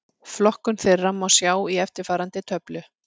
Flokkun þeirra má sjá í eftirfarandi töflu: